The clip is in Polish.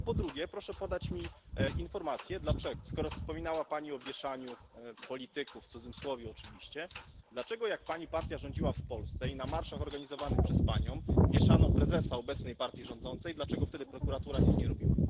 A po drugie, proszę podać mi informację skoro wspominała Pani o wieszaniu polityków w cudzysłowie oczywiście dlaczego, jak Pani partia rządziła w Polsce i na marszach organizowanych przez Panią wieszano prezesa obecnej partii rządzącej, prokuratura wtedy nic nie robiła?